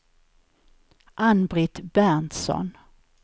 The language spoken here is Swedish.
Ann-Britt Berntsson